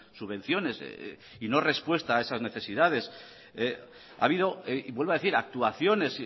subvenciones y no respuesta a esas necesidades ha habido y vuelvo a decir actuaciones